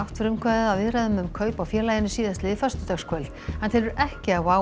frumkvæðið að viðræðum um kaup á félaginu síðastliðið á föstudagskvöld hann telur ekki að WOW